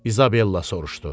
İzabella soruşdu.